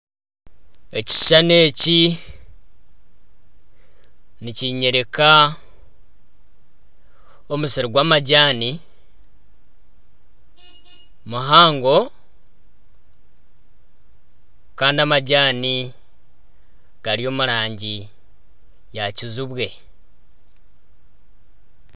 Ekishushani eki nikinyoreka omusiri gw'amajaani muhango kandi amajaani gari omurangi ya kizibwe.